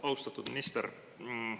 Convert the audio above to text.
Austatud minister!